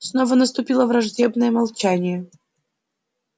снова наступило враждебное молчание